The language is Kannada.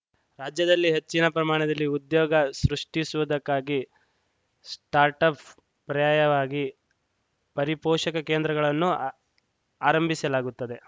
ರಾಜ್ಯದಲ್ಲಿ ಹೆಚ್ಚಿನ ಪ್ರಮಾಣದಲ್ಲಿ ಉದ್ಯೋಗ ಸೃಷ್ಟಿಸುವುದಕ್ಕಾಗಿ ಸ್ಟಾರ್ಟಪ್‌ ಪ್ರಯಾಯವಾಗಿ ಪರಿಪೋಷಕಾ ಕೇಂದ್ರಗಳನ್ನು ಆರಂಭಿಸಲಾಗುತ್ತದೆ